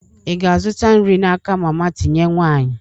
Ị ga-azụta nri n'aka mama tinye nwanyị?